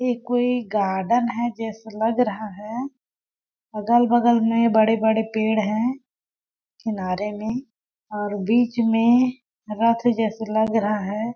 ये कोई गार्डन है जैसे लग रहा है अगल-बगल में बड़े-बड़े पेड़ हैं किनारे में और बीच में रथ जैसे लग रहा है।